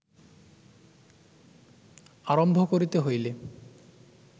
আরম্ভ করিতে হইলে